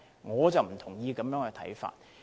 我不同意這種看法。